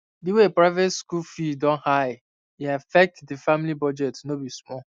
the way private school fee don high e affect the family budget no be small